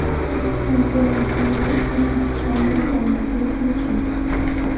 на первом канале очень печальная драма переключи